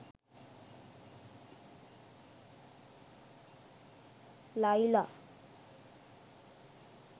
laila